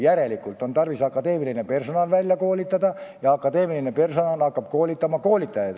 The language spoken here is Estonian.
Järelikult on tarvis akadeemiline personal välja koolitada ja see akadeemiline personal hakkab koolitajaid välja koolitama.